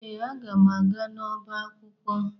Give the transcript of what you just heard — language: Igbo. Ee, aga m aga n'ọba akwụkwọ